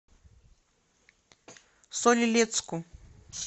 соль илецку